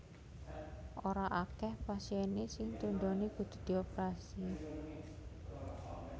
Ora akeh pasien sing tundhone kudu dioprasi